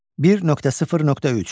1.0.3.